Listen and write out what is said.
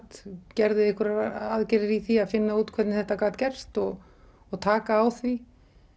gerði einhverjar aðgerðir í því að finna út hvernig þetta gat gerst og og taka á því